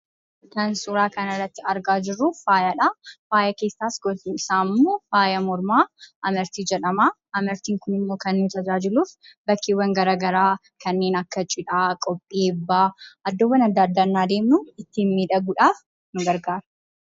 Kan suuraa kanarratti argaa jirru, faayadha. Faayi keessaas gosti isaammoo faaya mormaa amartii jedhama. Amartiin kunimmoo kan inni tajaajiluf bakkeewwan garagaraa, kanneen akka cidhaa, kanneen akka cidhaa qophii eebbaa iddoowwan addaaddaa yennaa deemnu ittiin miidhaguudhaaf kan gargaarudha.